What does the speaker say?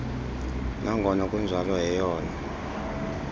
nangona kunjalo yeyona